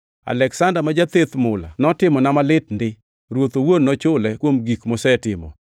Aleksanda ma jatheth mula notimona malit ndi. Ruoth owuon nochule kuom gik mosetimo.